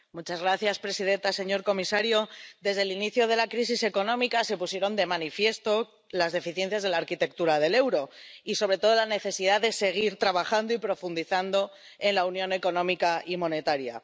Señora presidenta, señor comisario, desde el inicio de la crisis económica se pusieron de manifiesto las deficiencias de la arquitectura del euro y, sobre todo, la necesidad de seguir trabajando y profundizando en la Unión Económica y Monetaria.